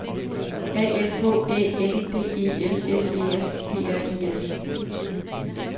A F H Æ N D E L S E S P R I S